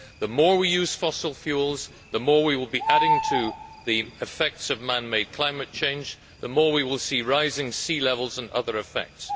The more we use fossil fuels, the more we will be adding to man made climate change, and the more we will see rising sea levels and other effects.